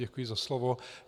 Děkuji za slovo.